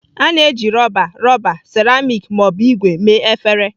A na-eji rọba, rọba, seramiiki ma ọ bụ ígwè mee efere.